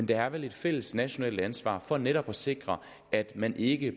der er vel et fælles nationalt ansvar for netop at sikre at man ikke